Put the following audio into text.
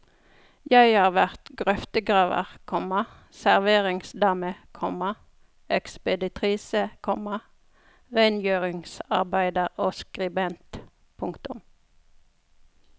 Jeg har vært grøftegraver, komma serveringsdame, komma ekspeditrise, komma rengjøringsarbeider og skribent. punktum